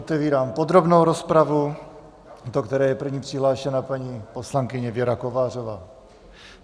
Otevírám podrobnou rozpravu, do které je první přihlášena paní poslankyně Věra Kovářová.